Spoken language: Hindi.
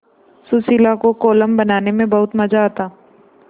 सुशीला को कोलम बनाने में बहुत मज़ा आता